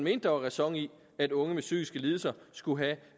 at der var ræson i at unge med psykiske lidelser skulle have